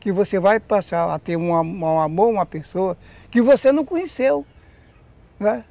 Que você vai passar a ter um amor a uma pessoa que você não conheceu, né.